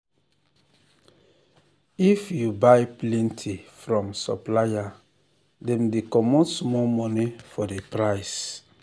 if you buy plenty from supplier dem dey comot small money for the price